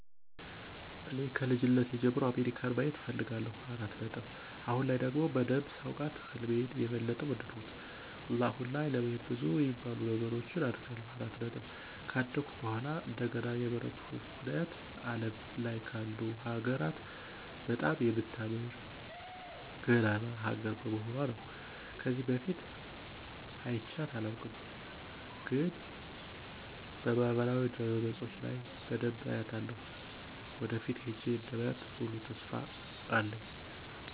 እኔ ከልጅነቴ ጀምሮ አሜሪካን ማየት እፈልጋለሁ። አሁን ላይ ደግሞ በደንብ ሳውቃት ህልሜን የበለጠ ወደድኩት። እና አሁን ላይ ለመሄድ ብዙ የሚባሉ ነገሮችን አደርጋለሁ። ከአደኩ በኃላ እንደገና የመረጥኩበት ምክንያት አለም ላይ ካሉ ሀገራት በጣም የምታምር እና ገናና ሀገር በመሆኑአ ነው። ከዚህ በፊት አይቻት አላውቅም፤ ግን በማህበራዊ ድረገጾች ለይ በደንብ አያታለሁ። ወደፊት ሄጄ እንደማያ ሙሉ ተስፋ አለኝ።